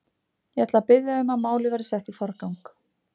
Ég ætla að biðja um að málið verði sett í forgang.